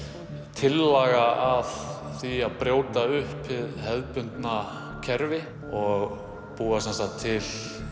tillaga að því að brjóta upp hið hefðbundna kerfi og búa til